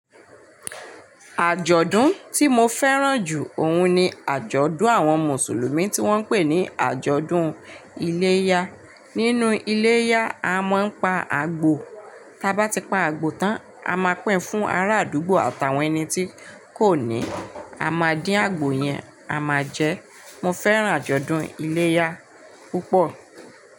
Àjọ̀dún tí mo fẹ́ràn jù òun ni àjọ̀dún àwọn Mùsùlùmí tí wọ́n ń pè ní àjọ̀dún iléyá. Nínú iléyá, a máa ń pa àgbò. Taba ti pa àgbò tán, a máa pín fún ará àdúgbò àtàwọn ẹni tí kò ní. A máa dín àgbò yẹn, a máa jẹ. Mo fẹ́ràn àjọ̀dún iléyá púpọ̀